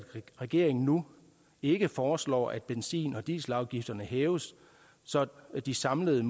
regeringen nu ikke foreslår at benzin og dieselafgifterne hæves så de samlede